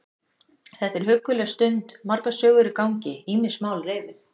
Þetta er hugguleg stund, margar sögur í gangi, ýmis mál reifuð.